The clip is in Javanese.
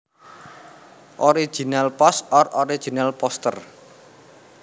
Original Post or Original Poster